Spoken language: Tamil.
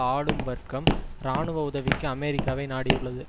ஆளும் வர்க்கம் இராணுவ உதவிக்கு அமெரிக்காவை நாடியுள்ளது